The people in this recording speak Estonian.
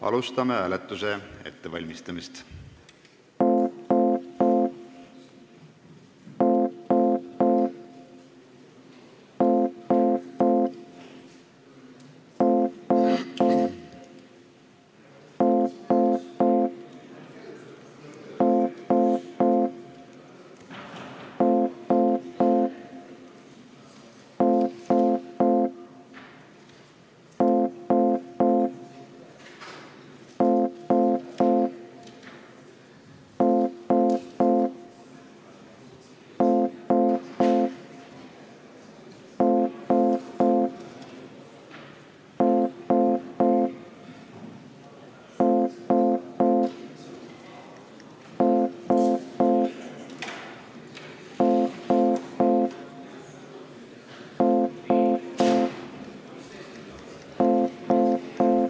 Alustame hääletuse ettevalmistamist.